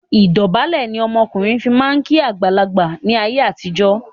Ìdọ̀bálẹ̀ ni ọmọkùnrin fi máa ń kí àgbàlagbà ni ayé àtijọ́